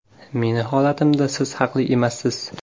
Meni holatimda siz haqli emassiz.